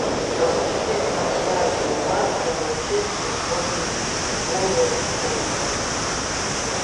запусти трансляцию матча манчестер против вулверхэмптон